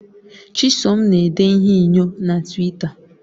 Chisom na-ede ihe inyo na Twita